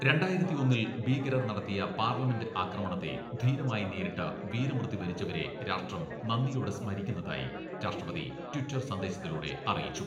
രണ്ടായിരത്തി ഒന്നിൽ ഭീകരർ നടത്തിയ പാർലമെന്റ് ആക്രമണത്തെ ധീരമായി നേരിട്ട് വീരമൃത്യു വരിച്ചവരെ രാഷ്ട്രം നന്ദിയോടെ സ്മരിക്കുന്നതായി രാഷ്ട്രപതി ട്വിറ്റർ സന്ദേശത്തിലൂടെ അറിയിച്ചു.